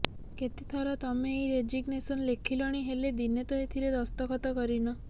କେତେଥର ତମେ ଏଇ ରେଜିଗ୍ନେସନ୍ ଲେଖିଲଣି ହେଲେ ଦିନେ ତ ଏଥିରେ ଦସ୍ତଖତ କରିନ